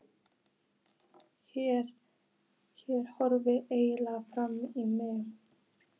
Hér horfði enginn framan í mig.